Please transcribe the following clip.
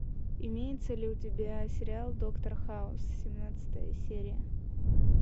имеется ли у тебя сериал доктор хаус семнадцатая серия